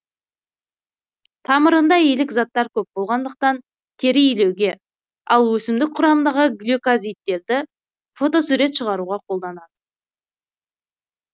тамырында илік заттар көп болғандықтан тері илеуге ал өсімдік құрамындағы глюкозидтерді фотосурет шығаруға қолданады